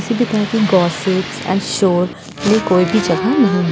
किसी भी तरह की एण्ड शोर ये कोई भी जगह नहीं --